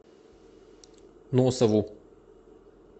носову